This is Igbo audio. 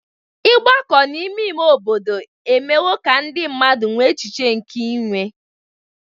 Ịgbakọ n'ime ime obodo emewo ka ndị mmadụ nwee echiche nke inwe.